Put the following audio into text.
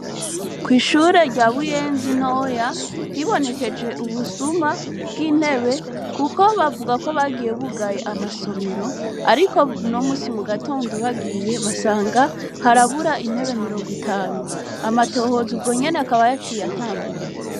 Ko ishure rya buyenzi noya hibonekeje ubusuma bw'intebe, kuko bavuga ko bagiye bugaye amasomero, ariko nomusi mu gatondo bagiye basanga harabura intebe mirongo itanu amatohoza ubwo nyene akaba yo aciye atangura.